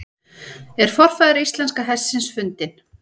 Er forfaðir íslenska hestsins fundinn?